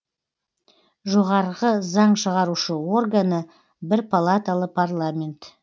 жоғарғы заң шығарушы органы бір палаталы парламент